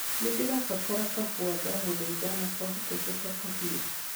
nĩndĩrabatara kahũa ndaguthaitha na kwa hotekeka kahiu